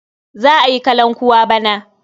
Za a yi kalankuwa bana.